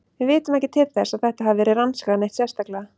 Við vitum ekki til þess að þetta hafi verið rannsakað neitt sérstaklega.